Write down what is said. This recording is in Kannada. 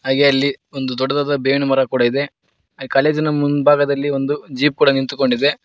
ಹಾಗೆ ಅಲ್ಲಿ ಒಂದು ದೊಡ್ಡದಾದ ಬೇವಿನ ಮರ ಕೂಡ ಇದೆ ಕಾಲೇಜಿನ ಮುಂಭಾಗದಲ್ಲಿ ಜೀಪ್ ಕೂಡ ನಿಂತುಕೊಂಡಿದೆ.